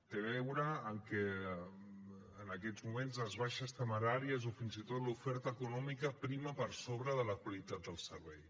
té a veure amb que en aquests moments les baixes temeràries o fins i tot l’oferta econòmica prima per sobre de la qualitat del servei